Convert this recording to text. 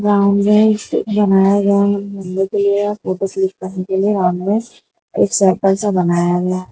Ground में stage बनाया गया है फोटो शूट करने के लिए एक सर्कल सा बनाया गया है।